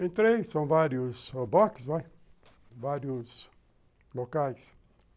Entrei, são vários boxes, vários locais.